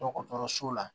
Dɔgɔtɔrɔso la